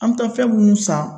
An be taa fɛn munnu san